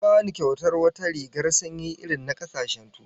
An bani kyautar wata rigar sanyi irin na kasashen Turawa